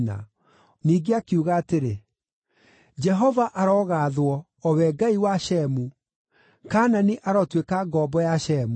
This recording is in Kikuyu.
Ningĩ akiuga atĩrĩ, “Jehova arogaathwo, o we Ngai wa Shemu! Kaanani arotuĩka ngombo ya Shemu.